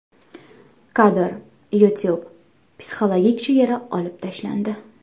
Kadr: YouTube - psixologik chegara olib tashlandi.